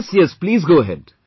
Yes, please tell me